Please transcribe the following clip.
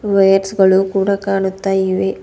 Wires ಗಳು ಕೂಡ ಕಾಣುತ್ತ ಇವೆ.